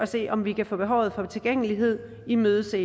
se om vi kan få behovet for tilgængelighed imødeset